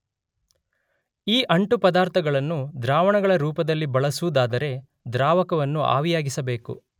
ಈ ಅಂಟು ಪದಾರ್ಥಗಳನ್ನು ದ್ರಾವಣಗಳ ರೂಪದಲ್ಲಿ ಬಳಸುವುದಾದರೆ ದ್ರಾವಕವನ್ನು ಆವಿಯಾಗಿಸಬೇಕು.